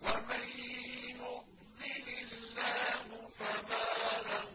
وَمَن يُضْلِلِ اللَّهُ فَمَا لَهُ